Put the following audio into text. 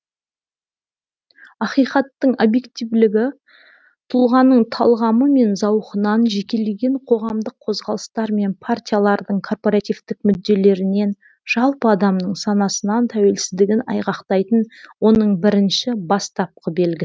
ақиқаттың объективтілігі тұлғаның талғамы мен зауқынан жекелеген коғамдық қозғалыстар мен партиялардың корпоративтік мүдделерінен жалпы адамның санасынан тәуелсіздігін айғақтайтын оның бірінші бастапқы белгі